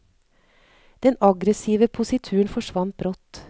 Den aggressive posituren forsvant brått.